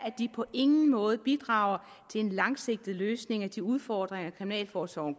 at de på ingen måde bidrager til en langsigtet løsning af de udfordringer kriminalforsorgen